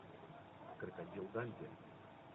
крокодил данди